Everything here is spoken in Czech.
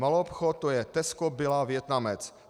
Maloobchod - to je Tesco, Billa, Vietnamec.